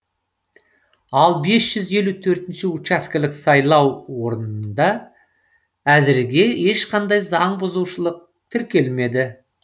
ал бес жүз елу төртінші учаскелік сайлау орынында әзірге ешқандай заң бұзушылық тіркелмеді